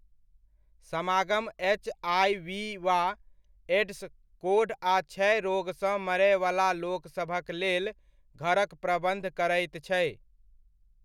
समागम एच.आइ.वी वा एड्स, कोढ़ आ क्षय रोगसँ मरयवला लोकसभक लेल घरक प्रबन्ध करैत छै।